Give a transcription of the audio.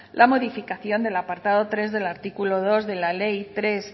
la modificación del apartado tres del artículo dos de la ley tres